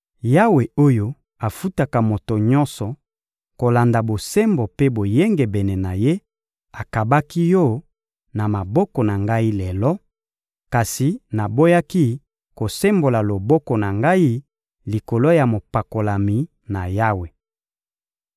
Yawe oyo afutaka moto nyonso kolanda bosembo mpe boyengebene na ye, akabaki yo na maboko na ngai lelo; kasi naboyaki kosembola loboko na ngai likolo ya mopakolami na Yawe.